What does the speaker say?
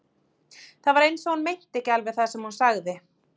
Það var eins og hún meinti ekki alveg það sem hún sagði.